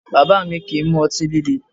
Bàbá mi kìí mu ọtí líle